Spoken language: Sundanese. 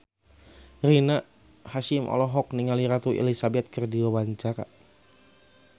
Rina Hasyim olohok ningali Ratu Elizabeth keur diwawancara